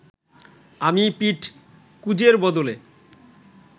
আমি পিঠ কুঁজের বদলে